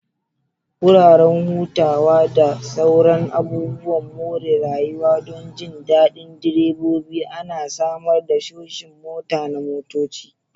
Wuraren hutawa da sauran abubuwan more rayuwa don jin daɗin direbobi ana samar da shoshin motaa na motoci.